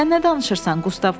Sən nə danışırsan?